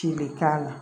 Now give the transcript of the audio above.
Ci bɛ k'a la